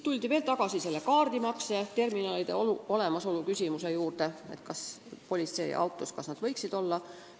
Veel käsitleti kaardimakseterminalide küsimust: kas need võiksid politseiautodes olemas olla.